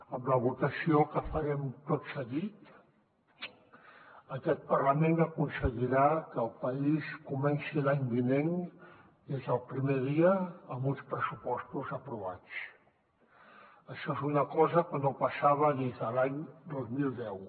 amb la votació que farem tot seguit aquest parlament aconseguirà que el país comenci l’any vinent des del primer dia amb uns pressupostos aprovats això és una cosa que no passava des de l’any dos mil deu